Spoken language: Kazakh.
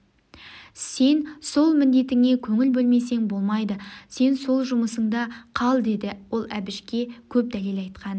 сен сол міндетіңе көңіл бөлмесең болмайды сен сол жүмысында қал деді ал әбішке көп дәлел айтқан